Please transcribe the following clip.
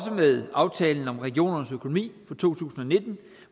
med aftalen om regionernes økonomi for to tusind og nitten